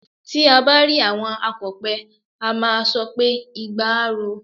Tí à bá rí àwọn akọ̀pẹ, a máà sọ pé "igba á ro o".